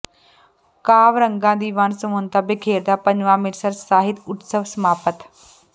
ਕਾਵਿ ਰੰਗਾਂ ਦੀ ਵੰਨ ਸੁਵੰਨਤਾ ਬਿਖੇਰਦਾ ਪੰਜਵਾਂ ਅੰਮ੍ਰਿਤਸਰ ਸਾਹਿਤ ਉਤਸਵ ਸਮਾਪਤ